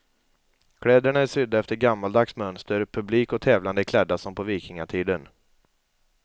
Kläderna är sydda efter gammaldags mönster, publik och tävlande är klädda som på vikingatiden.